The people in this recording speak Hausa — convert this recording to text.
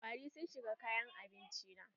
Kwari sun shiga kayan abinci na.